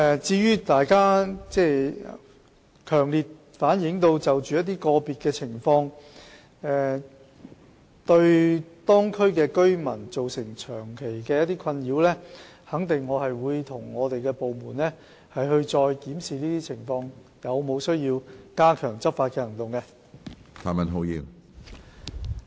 至於大家強烈反映一些個別情況，對當區居民造成長期的困擾，我肯定會與部門再檢視這些情況，看看有否需要加強執法行動。